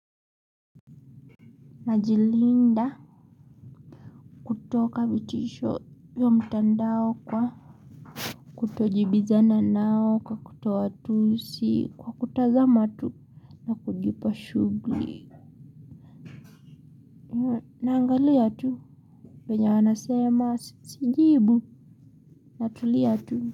Najilinda kutoka vitisho hiyo mtandao kwa kutojibizana nao kwa kutowatusi kwa kutazama tu na kujipa shughuli naangalia tu wenye wanasema sijibu natulia tu.